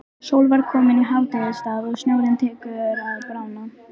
Sól var komin í hádegisstað og snjórinn tekinn að bráðna.